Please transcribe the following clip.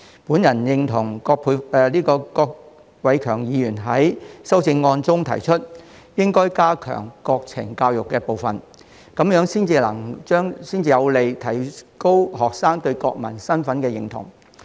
我認同郭偉强議員在修正案中提出，應該加強國情教育的部分，這樣才有利提高學生對國民身份的認同。